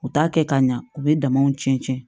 U t'a kɛ ka ɲa u bɛ damaw cɛncɛn cɛn